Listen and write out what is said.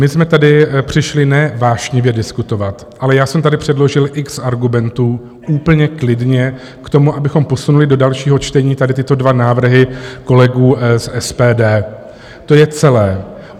My jsme tady přišli ne vášnivě diskutovat, ale já jsem tady předložil x argumentů úplně klidně k tomu, abychom posunuli do dalšího čtení tady tyto dva návrhy kolegů z SPD, to je celé.